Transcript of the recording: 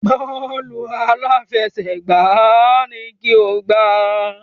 Bọ́ọ̀lù aláfẹsẹ̀gbá ni kí o gbá!